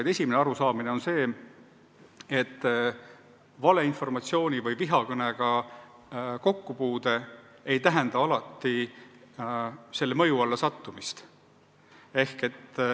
Põhiline on arusaam, et valeinformatsiooni või vihakõnega kokkupuude ei tähenda alati selle mõju alla sattumist..